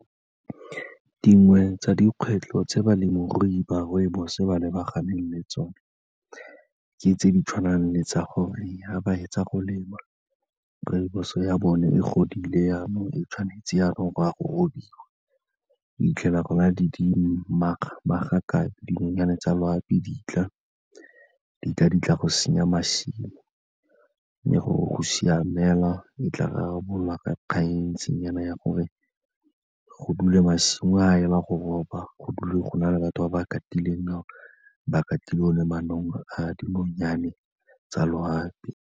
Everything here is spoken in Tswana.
Dingwe tsa dikgwetlho tse balemirui ba rooibos-o ba lebaganeng le tsone, ke tse di tshwanang le tsa gore fa ba fetsa go lema rooibos-o ya bone e godile jaanong e tshwanetse jaanong go ya go robiwa, o fitlhela go na le magakabe, dinonyane tsa loapi ditla, ditla-ditla go senya masimo. Mme gore go siame fela, e tla rarabololwa ka kgang e ntseng jaana ya gore go dule masimo a ela go roba, go dule go na le batho ba ba gartileng fao, ba gartile o ne manong a dinonyane tsa loapi.